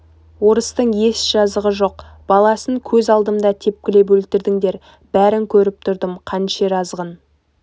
орыстың еш жазығы жоқ баласын көз алдымда тепкілеп өлтірдіңдер бәрін көріп тұрдым қанішер азғын